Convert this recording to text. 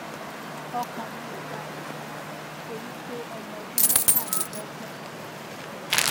ọkàn mi ò balẹ fún ọmọ mi torí pé ọmọ ọdún mẹtàlélọgbọn ni mí